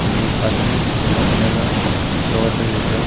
आणि पादरी त्याना सगळ्याना प्रवचन देतोय.